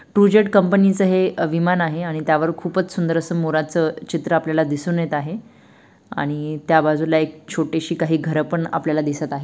TruJet company च हे विमान आहे आणि त्यावर खूपच सुंदर अस मोराच चित्र आपल्याला दिसून येत आहे आणि त्या बाजूला एक छोटीशी काही घर पण आपल्याला दिसत आहे.